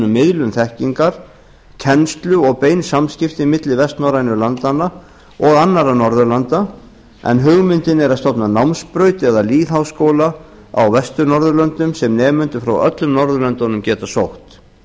miðlun þekkingar kennslu og bein samskipti milli vestnorrænu landanna og annarra norðurlanda en hugmyndin er að stofna námsbraut eða lýðháskóla á vestur norðurlöndum sem nemendur frá öllum norðurlöndunum geta sótt